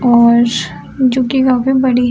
जो की काफी बड़ी है।